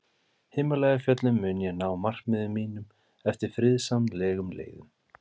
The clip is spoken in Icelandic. Himalæjafjöllum mun ég ná markmiðum mínum eftir friðsamlegum leiðum.